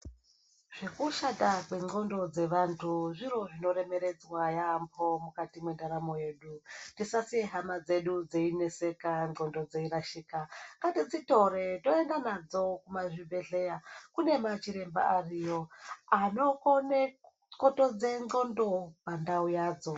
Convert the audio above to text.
Zvekushata kwevantu vendxondo dzavantu zviro zvino remeredzwa yaambo mukati mwendaramo dzevantu tisasiye hama dzedu dzeyineseka ndxondo dzeyirashika ngatidzitore tiende nadzo kuzvibhehlera kunema chiremba anokone kukotedze ndxondo pandau yadzo.